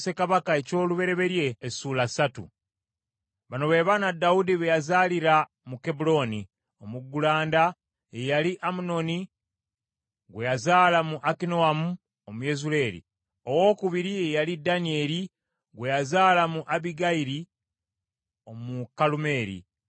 Bano be baana Dawudi be yazaalira mu Kebbulooni: Omuggulanda ye yali Amunoni gwe yazaala mu Akinoamu Omuyezuleeri; owookubiri ye yali Danyeri gwe yazaala mu Abbigayiri Omukalumeeri;